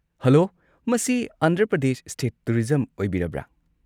Hello, ꯃꯁꯤ Andhra Pradesh state tourism ꯑꯣꯏꯕꯤꯔꯕ꯭ꯔꯥ?